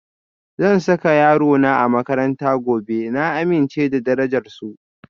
Zan saka yarona a makarantar gobe, na amince da darajar su.